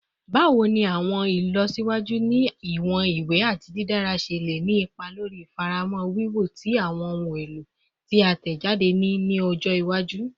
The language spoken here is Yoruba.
Bawo ni awọn ilọsiwaju ni iwọn iwe ati didara ṣe le ni ipa lori ifamọra wiwo ti awọn ohun elo ti a tẹjade ni ọjọ iwaju?